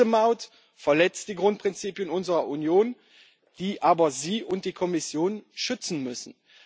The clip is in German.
Diese Maut verletzt die Grundprinzipien unserer Union, die aber Sie und die Kommission schützen müssen.